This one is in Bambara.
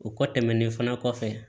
O kɔ tɛmɛnen fana kɔfɛ